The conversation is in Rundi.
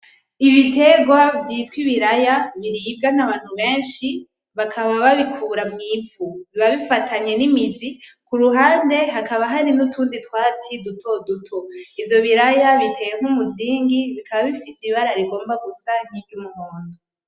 Ibitegwa vyitwa ibiraya biribwa n'abantu benshi bakaba babikura mw'ivu , biba bifatanye n'imizi, kuruhande hakaba hari n'utundi twatsi dutoduto , ivyo biraya biteye nk'umuzingi bikaba bifise ibara rigomba gusa nkiry'umuhondo.